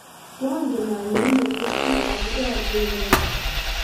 koangen ile nerechi aku rori inende